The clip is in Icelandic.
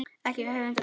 Ekki öfunda ég þá